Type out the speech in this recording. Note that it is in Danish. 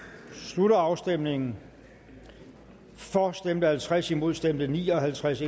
slutter afstemningen for stemte halvtreds imod stemte ni og halvtreds